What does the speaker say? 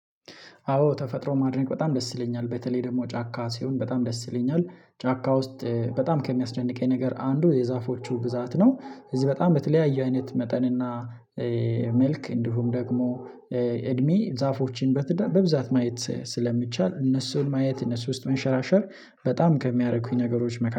አዎ ተፈጥሮ ማድነቅ በጣም ደስ ይለኛል በተለይ ደግሞ ጫካ ሲሆን በጣም ደስ ይለኛል። ጫካ ውስጥ በጣም ከሚያስደንቀኝ ነገር አንዱ የዛፎቹ ብዛት ነው። እዚህ በጣም በተለያየ አይነት መጠን እና መልክ እንዲሁም ደግሞ እድሜ ዛፎችን በትዳር በብዛት ማየት ስለሚቻል እነሱን ማየት እነሱ ውስጥ መንሸራሸር በጣም ከሚያረኩኝ ነገሮች